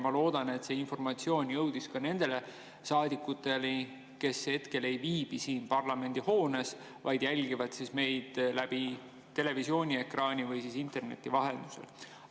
Ma loodan, et see informatsioon jõudis ka nende saadikuteni, kes hetkel ei viibi siin parlamendihoones, vaid jälgivad meid televiisoriekraani või interneti vahendusel.